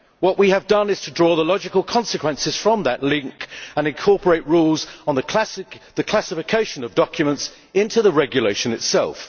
What we have done is to draw the logical consequences from that link and incorporate rules on the classification of documents into the regulation itself.